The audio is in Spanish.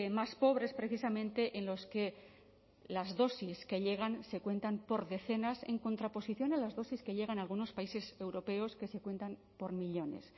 más pobres precisamente en los que las dosis que llegan se cuentan por decenas en contraposición a las dosis que llegan a algunos países europeos que se cuentan por millónes